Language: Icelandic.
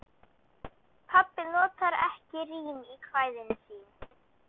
Pabbi notar ekki rím í kvæðin sín.